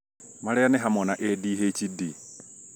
marĩa nĩ hamwe na ADHD